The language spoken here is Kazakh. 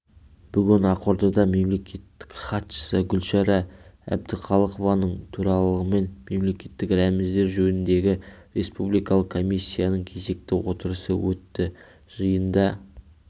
бүгін ақордада мемлекеттік хатшысы гүлшара әбдіқалықованың төрағалығымен мемлекеттік рәміздер жөніндегі республикалық комиссияның кезекті отырысы өтті жиында